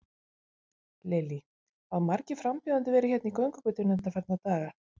Lillý: Hafa margir frambjóðendur verið hérna í göngugötunni undanfarna daga?